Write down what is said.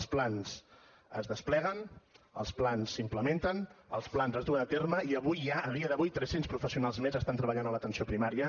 els plans es despleguen els plans s’implementen els plans es duen a terme i avui ja a dia d’avui tres cents professionals més estan treballant a l’atenció primària